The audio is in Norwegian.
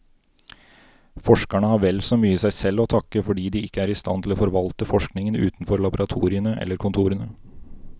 Forskerne har vel så mye seg selv å takke fordi de ikke er i stand til å forvalte forskningen utenfor laboratoriene eller kontorene.